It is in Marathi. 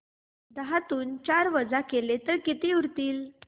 दहातून चार वजा केले तर किती उरतील